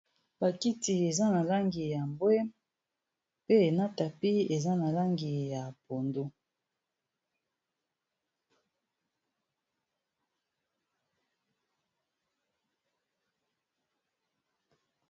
Bakiti eza na langi ya mbwe mpe na tapis eza na langi ya pondu.